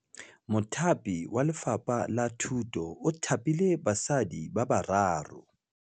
Mothapi wa Lefapha la Thutô o thapile basadi ba ba raro.